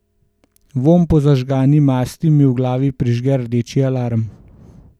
Vonj po zažgani masti mi v glavi prižge rdeči alarm.